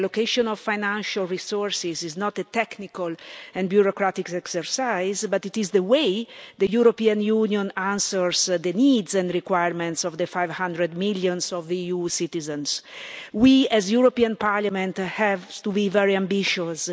The allocation of financial resources is not a technical and bureaucratic exercise, but it is the way the European Union answers the needs and requirements of the 500 million EU citizens. We, as the European Parliament, have to be very ambitious.